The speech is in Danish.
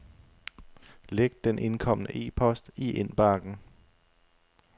Læg den indkomne e-post i indbakken.